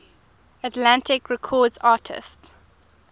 atlantic records artists